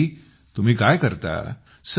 राजेश जी तुम्ही काय करता